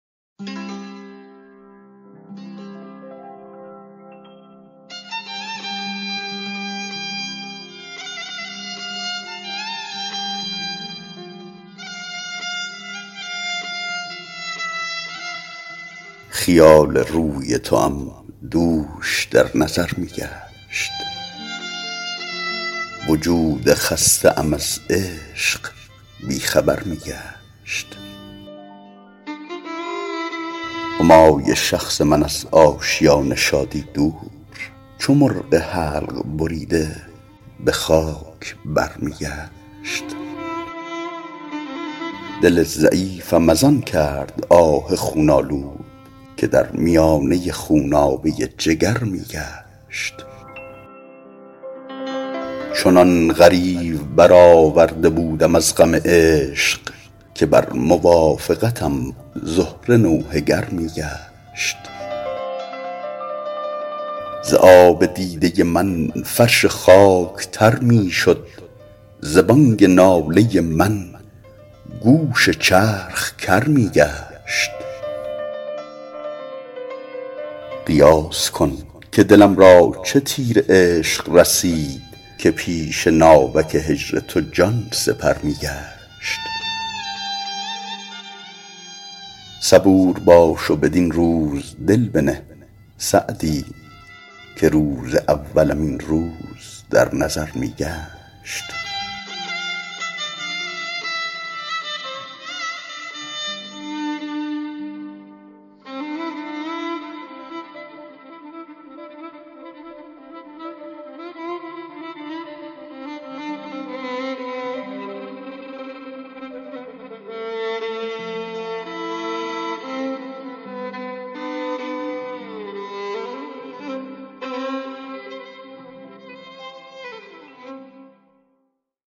خیال روی توام دوش در نظر می گشت وجود خسته ام از عشق بی خبر می گشت همای شخص من از آشیان شادی دور چو مرغ حلق بریده به خاک بر می گشت دل ضعیفم از آن کرد آه خون آلود که در میانه خونابه جگر می گشت چنان غریو برآورده بودم از غم عشق که بر موافقتم زهره نوحه گر می گشت ز آب دیده من فرش خاک تر می شد ز بانگ ناله من گوش چرخ کر می گشت قیاس کن که دلم را چه تیر عشق رسید که پیش ناوک هجر تو جان سپر می گشت صبور باش و بدین روز دل بنه سعدی که روز اولم این روز در نظر می گشت